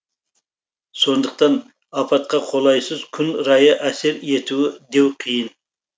сондықтан апатқа қолайсыз күн райы әсер етуі деу қиын